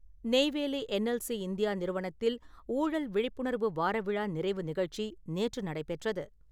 Neyveli NLC India நிறுவனத்தில் ஊழல் விழிப்புணர்வு வாரவிழா நிறைவு நிகழ்ச்சி நேற்று நடைபெற்றது.